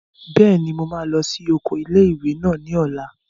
Bẹ́ẹ̀ni, mo máa lọ sí oko ilé-ìwé náà ní ọ̀la